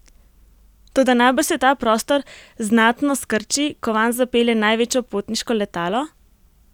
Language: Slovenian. Toda najbrž se ta prostor znatno skrči, ko vanj zapelje največje potniško letalo?